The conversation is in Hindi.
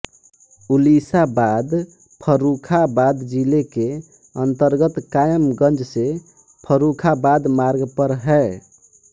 उलीसाबाद फ़र्रूख़ाबाद जिले के अन्तर्गत कायमगंज से फ़र्रूख़ाबाद मार्ग पर है